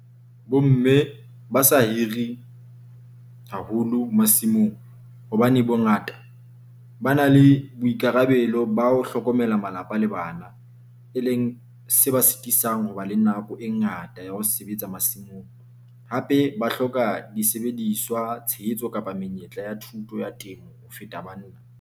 Bo mme ba sa hiri haholo masimong, hobane bongata ba na le boikarabelo ba ho hlokomela malapa le bana. E e leng se ba sitisang ho ba le nako e ngata ya ho sebetsa masimong, hape ba hloka disebediswa, tshehetso kapa menyetla ya thuto ya temo ho feta banna.